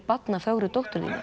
barna fögru dóttur þína